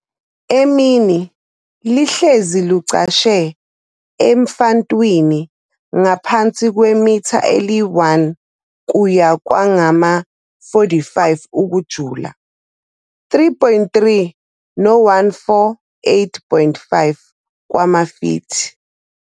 Emini, lihlezi lucashe emfantwini ngaphansi kwemitha eli-1 kuya kwangama-45 ukujula, 3.3 no-148.5 wamafithi.